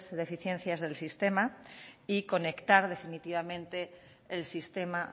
deficiencias del sistema y conectar definitivamente el sistema